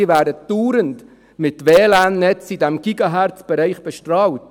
Sie werden dauernd mit WLAN-Netzen in diesem GHz-Bereich bestrahlt.